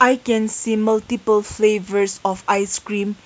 I can see multiple flavours of ice cream.